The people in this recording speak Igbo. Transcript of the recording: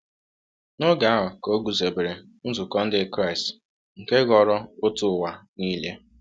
N’oge ahụ ka e guzobere nzukọ Ndị Kraịst nke ghọrọ òtù ụwa niile.